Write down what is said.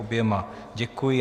Oběma děkuji.